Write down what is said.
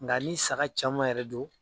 Nga ni saga caman yɛrɛ do.